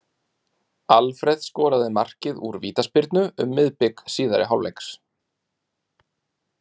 Alfreð skoraði markið úr vítaspyrnu um miðbik síðari hálfleiks.